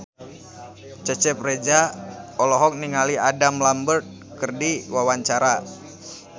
Cecep Reza olohok ningali Adam Lambert keur diwawancara